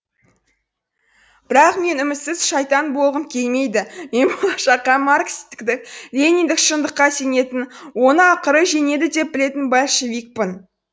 бірақ мен үмітсіз шайтан болғым келмейді мен болашаққа маркстік лениндік шындыққа сенетін оны ақыры жеңеді деп білетін большевикпін